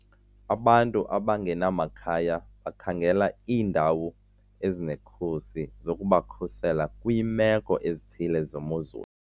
Abantu abangenamakhaya bakhangela iindawo ezinekhusi zokubakhusela kwiimeko ezithile zemozulu.